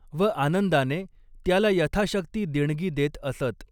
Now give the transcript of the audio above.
व आनंदाने त्याला यथाशक्ती देणगी देत असत.